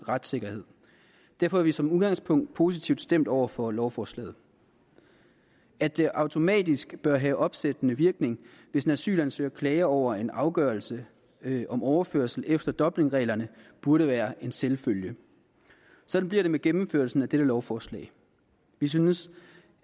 retssikkerhed derfor er vi som udgangspunkt positivt stemt over for lovforslaget at det automatisk bør have opsættende virkning hvis en asylansøger klager over en afgørelse om overførelse efter dublinreglerne burde være en selvfølge sådan bliver det med gennemførelsen af dette lovforslag vi synes